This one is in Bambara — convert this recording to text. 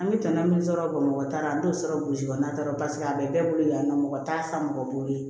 An bɛ tɔnɔ min sɔrɔ bamakɔ tara an t'o sɔrɔ burusi kɔnɔna la paseke a bɛ bɛɛ bolo yan nɔ mɔgɔ t'a san mɔgɔ bolo